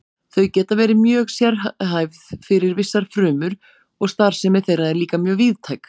Þau geta verið mjög sérhæfð fyrir vissar frumur og starfsemi þeirra er líka mjög víðtæk.